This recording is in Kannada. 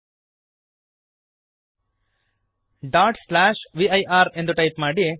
ವಿರ್ ಡಾಟ್ ಸ್ಲ್ಯಾಷ್ ವಿರ್ ಎಂದು ಟೈಪ್ ಮಾಡಿರಿ